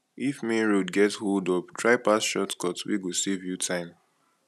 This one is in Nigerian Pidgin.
if main road get holdup try pass shortcut wey go save you time